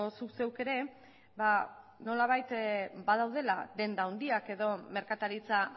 zuk zeuk ere nolabait badaudela denda handiak edo merkataritza